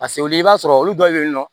Paseke olu i b'a sɔrɔ olu dɔw bɛ yen nɔ